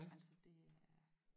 Altså det er